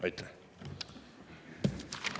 Aitäh!